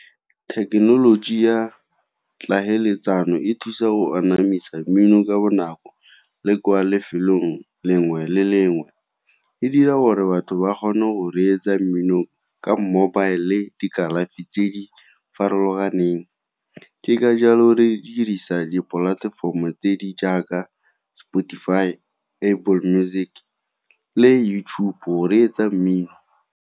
Thekenoloji ya tlhaeletsano e thusa go anamisa mmino ka bonako, le kwa lefelong lengwe le lengwe. E dira gore batho ba kgone go reetsa mmino ka mobile le dikalafi tse di farologaneng. Ke ka jalo re dirisa dipolatefomo tse di jaaka Spotify, Apple Music, le YouTube-o go reetsa mmino.